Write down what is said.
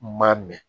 N ma mɛn